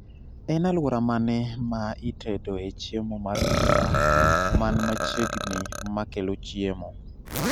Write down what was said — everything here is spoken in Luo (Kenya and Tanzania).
En aluora mane ma itendoe chiemo mar pizza man machiegni makelo chiemo